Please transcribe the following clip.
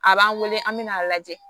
A b'an wele an bɛ n'a lajɛ